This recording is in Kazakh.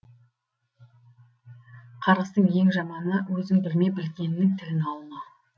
қарғыстың ең жаманы өзің білме білгеннің тілін алма